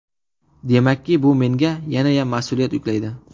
Demakki, bu menga yanayam mas’uliyat yuklaydi.